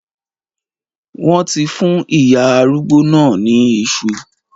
Wọ́n ti fún ìyá arúgbó náà ní iṣu.